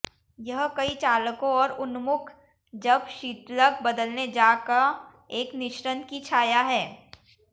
यह कई चालकों और उन्मुख जब शीतलक बदलने जा का एक मिश्रण की छाया है